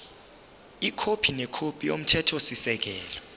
ikhophi nekhophi yomthethosisekelo